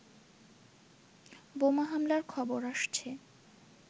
বোমা হামলার খবর আসছে